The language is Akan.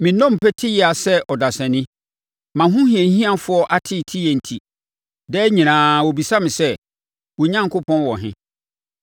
Me nnompe te yea sɛ ɔdasani. Mʼahohiahiafoɔ ateeteeɛ enti, daa nyinaa wɔbisa me sɛ, “Wo Onyankopɔn wɔ he?”